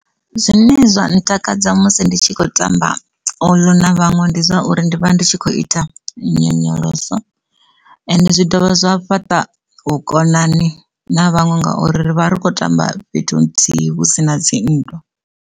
Zwine zwa ntakadza musi ndi tshi khou tamba uḽu na vhaṅwe ndi zwa uri ndi vha ndi tshi khou ita nyonyoloso ende zwi dovha zwa fhaṱa vhukonani na vhaṅwe ngauri ri vha ri khou tamba fhethu nthihi hu si na dzinndwa.